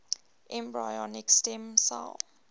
embryonic stem cell